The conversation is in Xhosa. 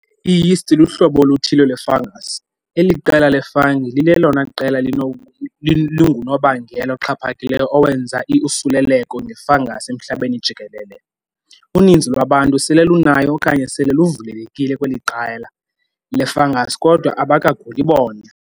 I-Yeasts luhlobo oluthile lwe- fungus. eli qela le-fungi lilelona qela lingunobangela oxhaphakileyo owenza iusuleleko nge-fungus emhlabeni jikelele. Uninzi lwabantu sele lunayo okanye sele luvulelekile kweli qela le-fungus kodwa abakaguli bona.